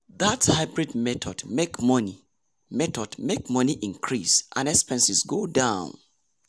that hybrid method make money method make money increase and expenses go down.